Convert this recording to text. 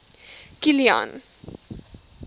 kilian